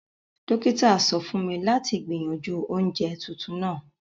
Dókítà sọ fún mi láti gbìyànjú oje tuntun náà